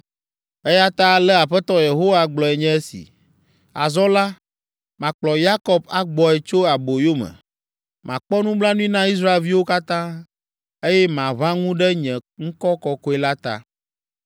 “Eya ta ale Aƒetɔ Yehowa gblɔe nye esi, ‘Azɔ la, makplɔ Yakob agbɔe tso aboyome, makpɔ nublanui na Israelviwo katã, eye maʋã ŋu ɖe nye ŋkɔ kɔkɔe la ta.